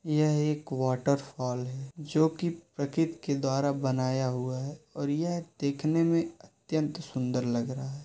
यह एक वाटरफॉल है जोकि प्रकृति के द्वारा बनाया हुआ है और यह दिखने में अत्यंत सुंदर लग रहा है।